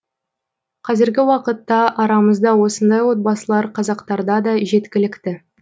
қазіргі уақытта арамызда осындай отбасылар қазақтарда да жеткілікті